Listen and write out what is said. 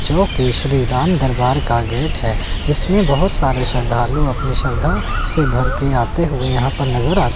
शिव केशरी राम दरबार का गेट है जिसमें बहोत सारे श्रद्धालु अपनी श्रद्धा से भर के आते हुए यहां पर नजर आ--